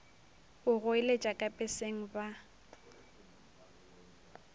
go goeletša ka peseng ba